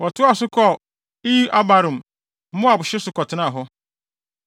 Wɔtoaa so kɔɔ Iye-Abarim, Moab hye so kɔtenaa hɔ.